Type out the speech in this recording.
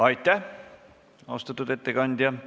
Aitäh, austatud ettekandja!